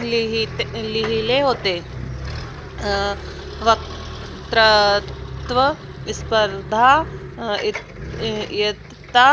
लिहिललिहिले होते. अं वक्तृत्त्व स्पर्धा इयत्ता